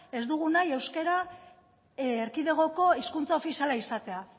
ez dugu nahi euskara erkidegoko hizkuntza ofiziala izatea